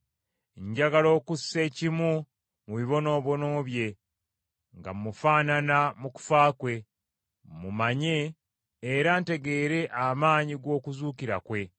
Njagala okussa ekimu mu bibonoobono bye, nga mmufaanana mu kufa kwe, mmumanye era ntegeere amaanyi g’okuzuukira kwe,